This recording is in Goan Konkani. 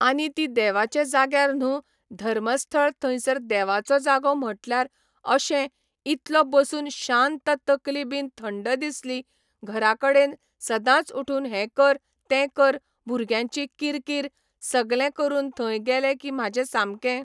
आनी ती देवाचे जाग्यार न्हू धर्मस्थळ थंयसर देवाचो जागो म्हटल्यार अशें इतलो बसून शांत तकली बीन थंड दिसली घरा कडेन सदांच उठून हें कर तें कर भुरग्यांची किरकीर सगलें करून थंय गेले की म्हाजें सामकें